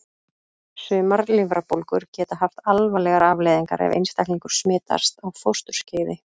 Sumar lifrarbólgur geta haft alvarlegar afleiðingar ef einstaklingur smitast á fósturskeiði.